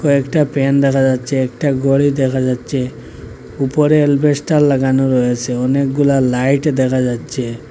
কয়েকটা ফ্যান দেখা যাচ্ছে একটা ঘড়ি দেখা যাচ্ছে উপরে এলবেস্টার লাগানো রয়েছে অনেকগুলা লাইট দেখা যাচ্ছে।